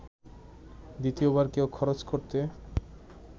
দ্বিতীয়বার কেউ খরচ করতে